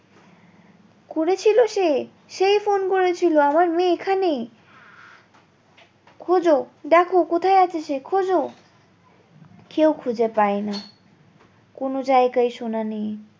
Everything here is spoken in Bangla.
করেছিল সে সেই ফোন করেছিল আমার মেয়ে এখানে খোঁজ দেখো কোথায় আছে সে খোঁজ কেউ খুঁজে পায় না কোনো জায়গায় সোনা নেই